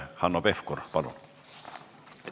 Hanno Pevkur, palun!